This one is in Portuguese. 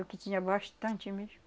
E o que tinha bastante mesmo.